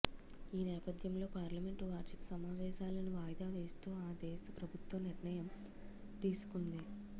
ఈ నేపథ్యంలో పార్లమెంటు వార్షిక సమావేశాలను వాయిదావేస్తూ ఆ దేశ ప్రభుత్వం నిర్ణయం తీసుకుంది